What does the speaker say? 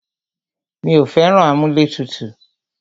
Mí ò fẹ́ràn amúlẹ̀tutù.